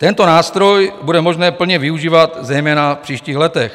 Tento nástroj bude možné plně využívat zejména v příštích letech.